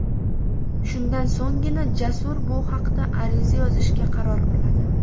Shundan so‘nggina Jasur bu haqda ariza yozishga qaror qiladi.